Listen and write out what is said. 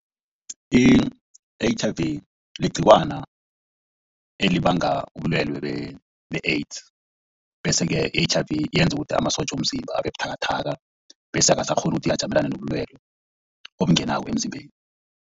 I-H_I_V ligciwana elibanga ubulwelwe be-AIDS bese-ke i-H_I_V yenza ukuthi amasotja womzimba abebuthakathaka bese angasakghoni ukuthi ajamelane nobulwelwe obungenako emzimbeni.